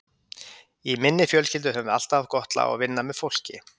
Í minni fjölskyldu höfum við alltaf haft gott lag á að vinna með fólki.